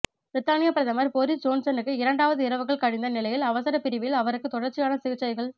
பிரித்தானியப் பிரதமர் பொறிஸ் ஜோன்சனுக்கு இரண்டாவது இரவுகள் கழிந்த நிலையில் அவசரப் பிரிபில் அவருக்கு தொடர்ச்சியான சிகிற்சைகள்